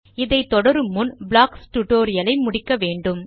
இதை தொடரும் முன் ப்ளாக்ஸ் டியூட்டோரியல் ஐ கற்கவேண்டும்